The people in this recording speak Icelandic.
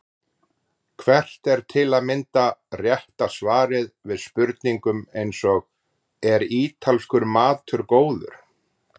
Hvert er til að mynda rétta svarið við spurningum eins og Er ítalskur matur góður?